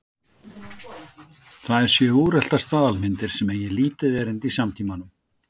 Þær séu úreltar staðalmyndir sem eigi lítið erindi í samtímanum.